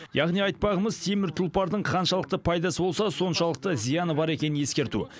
яғни айтпағымыз темір тұлпардың қаншалықты пайдасы болса соншалықты зияны бар екенін ескерту